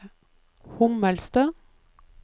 Hommelstø